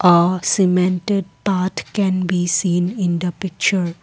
a cemented path can be seen in the picture.